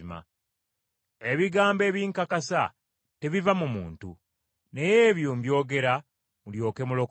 Ebigambo ebinkakasa tebiva mu muntu, naye ebyo mbyogera mulyoke mulokolebwe.